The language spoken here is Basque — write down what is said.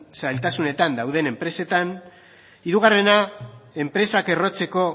zailtasunetan dauden enpresetan hirugarrena enpresak errotzeko